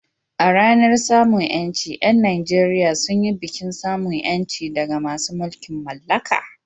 A ranar samun ƴanci, ƴan Nageriya sun yi bikin samun ƴanci daga masu mulkin mallaka.